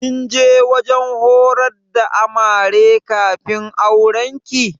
Kin je wajen horar da Amare kafin aurenki?